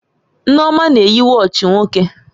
Nneoma na-eyi wọọchi nwoke